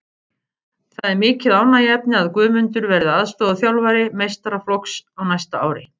Það er mikið ánægjuefni að Guðmundur verði aðstoðarþjálfari meistaraflokks á næsta ári.